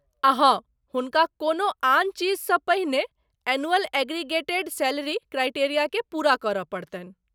आ हँ, हुनका कोनो आन चीजसँ पहिने एनुअल एग्रीगेटेड सैलरी क्राइटेरिया के पूरा करय पड़तनि।